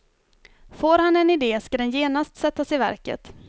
Får han en idé ska den genast sättas i verket.